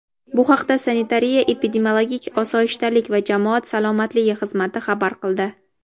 Bu haqda Sanitariya-epidemiologik osoyishtalik va jamoat salomatligi xizmati xabar qildi.